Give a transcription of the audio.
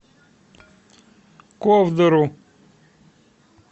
ковдору